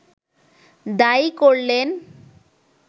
দায়ী করলেন